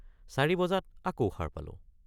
৪ বজাত আকৌ সাৰ পালো।